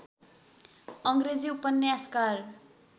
अङ्ग्रेजी उपन्यासकार